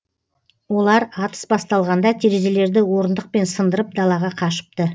олар атыс басталғанда терезелерді орындықпен сындырып далаға қашыпты